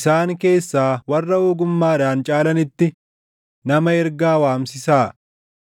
isaan keessaa warra ogummaadhaan caalanitti // nama ergaa waamsisaa.